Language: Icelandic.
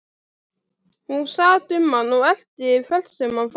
Hún sat um hann og elti hvert sem hann fór.